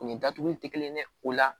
O ni datuguli ti kelen ye o la